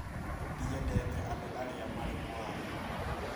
Ndiendete andũ arĩa marĩ mũhahe